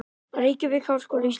Reykjavík: Háskóli Íslands.